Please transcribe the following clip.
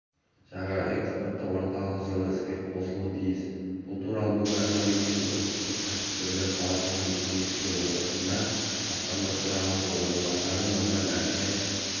жаңа экспорттық орталық жылы іске қосылуы тиіс бұл туралы бүгін атамекен ұлттық кәсіпкерлер палатасының кеңейтілген отырысында басқарма төрағасының орынбасары нұржан әлтаев